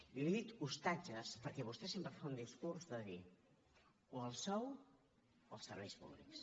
i li he dit ostatges perquè vostè sempre fa un discurs de dir o el sou o els serveis públics